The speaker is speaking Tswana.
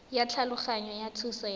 ya thulaganyo ya thuso ya